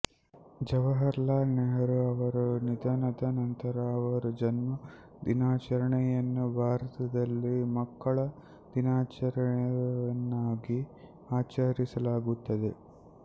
ಜವಾಹರಲಾಲ್ ನೆಹರೂ ಅವರ ನಿಧನದ ನಂತರ ಅವರ ಜನ್ಮ ದಿನಾಚರಣೆಯನ್ನು ಭಾರತದಲ್ಲಿ ಮಕ್ಕಳ ದಿನವನ್ನಾಗಿ ಆಚರಿಸಲಾಗುತ್ತದೆ